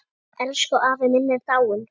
Elsku afi minn er dáinn.